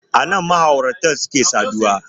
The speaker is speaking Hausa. Anan ma'aurata suke saduwa